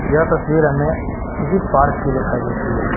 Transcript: यह तस्वीर हमे किसी पार्क की दिखाई देती है।